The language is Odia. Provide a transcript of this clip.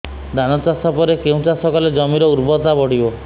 ଧାନ ଚାଷ ପରେ କେଉଁ ଚାଷ କଲେ ଜମିର ଉର୍ବରତା ବଢିବ